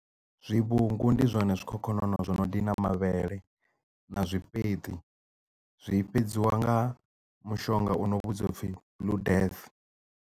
Zwivhungu ndi zwone zwikhokhonono zwo no ḽa mavhele na zwifheṱi zwi fhedziwa nga mushonga uno vhudziwa upfi blue death.